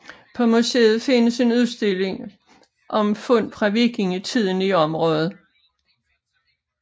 På museet findes en udstilling om fund fra vikingetiden i området